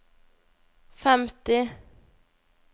femti